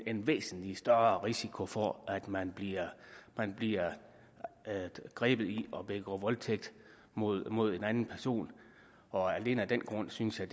en væsentlig større risiko for at man bliver man bliver grebet i at begå voldtægt mod mod en anden person og alene af den grund synes jeg